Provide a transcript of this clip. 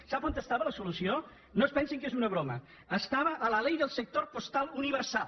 sap on era la solució no es pensin que és una broma era a la ley del sector postal universal